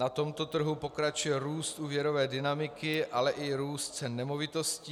Na tomto trhu pokračuje růst úvěrové dynamiky, ale i růst cen nemovitostí.